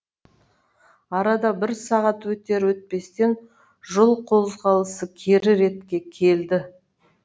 арада бір сағат өтер өтпестен жол қозғалысы кері ретке келді